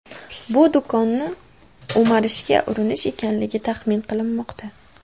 Bu do‘konni o‘marishga urinish ekanligi taxmin qilinmoqda.